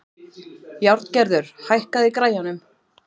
Járngerður, hækkaðu í græjunum.